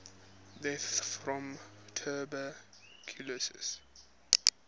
deaths from tuberculosis